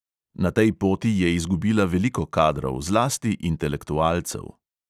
Na tej poti je izgubila veliko kadrov, zlasti intelektualcev.